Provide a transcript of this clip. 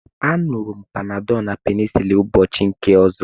A ñuru m Panadolu na penicilin ụbọchị nke ọzọ